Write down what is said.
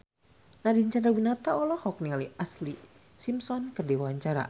Nadine Chandrawinata olohok ningali Ashlee Simpson keur diwawancara